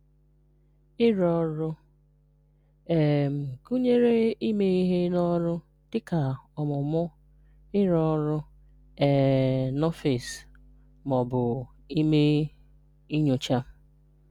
Ịrụ Ọrụ: um Gụnyeere ime ihe n’ọrụ, dịka ọmụmụ, ịrụ ọrụ um n’ọfịs, ma ọ bụ ime nyocha.